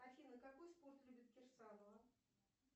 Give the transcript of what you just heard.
афина какой спорт любит кирсанова